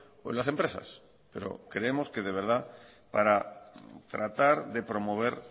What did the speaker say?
o en las empresas pero creemos que de verdad para tratar de promover